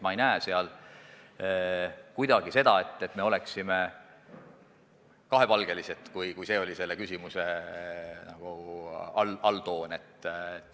Ma ei näe kuidagi seda, et oleksime kahepalgelised, juhul kui see oli teie küsimuse alltoon.